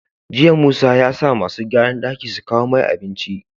Jiya musa yasa masu gyaran daki su kawo mai abinci